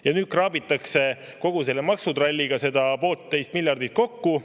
Ja nüüd kraabitakse kogu maksutralliga seda pooltteist miljardit kokku.